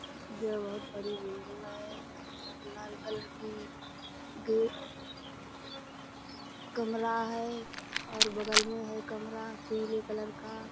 यह बहुत बड़ी बिल्डिंग है लाल कलर की गेट कमरा है और बगल में है कमरा पीले कलर का।